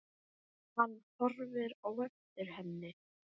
Hann horfir á eftir henni.